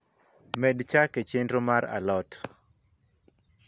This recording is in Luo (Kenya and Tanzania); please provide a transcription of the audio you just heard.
med chak e chenro mar a lot